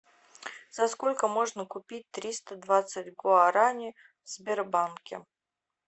за сколько можно купить триста двадцать гуарани в сбербанке